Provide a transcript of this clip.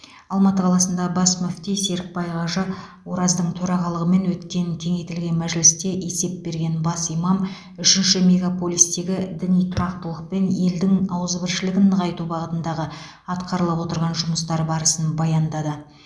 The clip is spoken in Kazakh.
алматы қаласында бас мүфти серікбай қажы ораздың төрағалығымен өткен кеңейтілген мәжілісте есеп берген бас имам үшінші мегаполистегі діни тұрақтылық пен елдің ауызбіршілігін нығайту бағытындағы атқарылып отырған жұмыстар барысын баяндады